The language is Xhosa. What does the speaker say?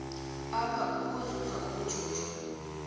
apha ukuzuza ubujuju